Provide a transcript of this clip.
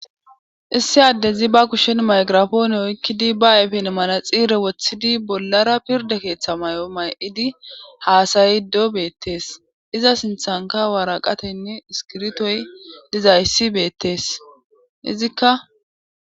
Issi addezi ba kushen maygirafoone oykkidi ba ayfen manaxiire woththidi bollara pirde keeththa may7o may7idi haasayido beettees iza sinthanka waraqateynne iskirtoy dizayssi beettees izikka.